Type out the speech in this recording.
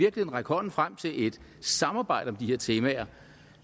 række hånden frem til et samarbejde om de her temaer